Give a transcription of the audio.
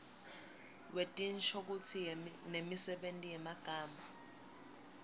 wetinshokutsi nemisebenti yemagama